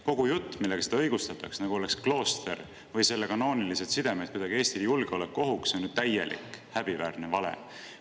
Kogu jutt, millega seda õigustatakse, nagu oleks klooster või selle kanoonilised sidemed kuidagi Eestile julgeolekuohuks, on ju täielik häbiväärne vale.